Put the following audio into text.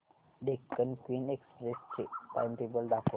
Deccan queen express चे timetable दाखव